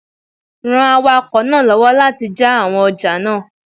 Ran awakọ̀ náà lọ́wọ́ láti jà àwọn ọjà náà